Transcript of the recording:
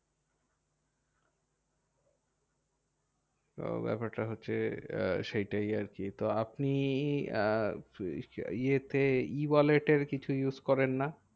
তো ব্যাপারটা হচ্ছে আহ সেটাই আরকি। তো আপনি আহ ইয়েতে E wallet এর কিছু use করেন না?